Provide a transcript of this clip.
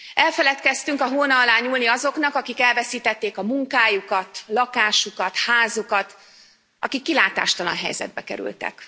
elfeledkeztünk a hóna alá nyúlni azoknak, akik elveszítették a munkájukat, lakásukat, házukat, akik kilátástalan helyzetbe kerültek.